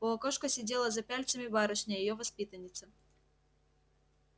у окошка сидела за пяльцами барышня её воспитанница